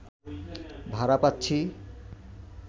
ভাড়া পাচ্ছি